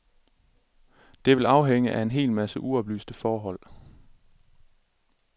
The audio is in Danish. Det vil afhænge af en hel masse uoplyste forhold.